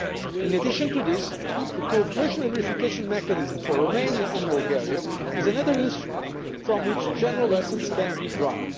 Europe. In addition to this, the cooperation and verification mechanism for Romania and Bulgaria is another instrument from which general lessons can